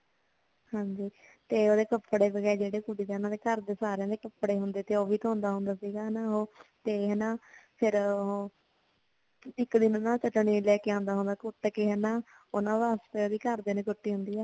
ਹਾਂਜੀ ਤੇ ਓਦੇ ਕਪੜੇ ਵਗੈਰਾ ਜੇੜੇ ਓਨਾ ਦੇ ਘਰ ਦੇ ਸਾਰੀਆਂ ਦੇ ਕਪੜੇ ਹੁੰਦੇ ਸੀ ਓ ਵੀ ਧੋਂਦਾ ਹੁੰਦਾ ਸੀਗਾ ਹਨ ਓ ਤੇ ਨਾ ਫੇਰ ਓ ਇੱਕ ਦਿਨ ਨਾ ਪਤਾ ਨੀ ਲੈ ਕੇ ਆਉਂਦਾ ਹੁੰਦਾ ਸੀ ਹਨਾ ਓਨਾ ਵਾਸਤੇ ਓਦੇ ਘਰ ਵਾਲਿਆਂ ਨੇ